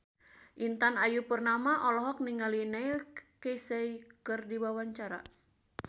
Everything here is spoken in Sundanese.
Intan Ayu Purnama olohok ningali Neil Casey keur diwawancara